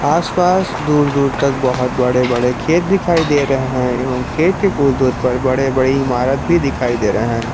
आसपास दूर दूर तक बहोत बड़े बड़े खेत दिखाई दे रहे हैं एवं खेत के कुछ दूर पर बड़े बड़े इमारत भी दिखाई दे रहे हैं।